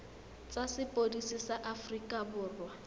tsa sepodisi sa aforika borwa